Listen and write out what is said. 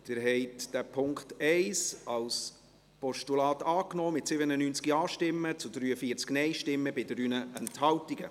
Sie haben den Punkt 1 als Postulat angenommen, mit 97 Ja- gegen 43 Nein-Stimmen bei 3 Enthaltungen.